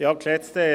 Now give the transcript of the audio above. Nichteintreten.